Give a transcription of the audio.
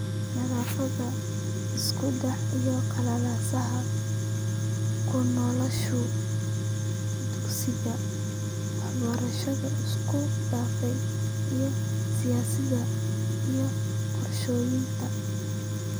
Naafada, isku dhaca iyo qalalaasaha , ku noqoshada dugsiga , waxbarashada isku dhafan , iyo siyaasadda iyo qorshaynta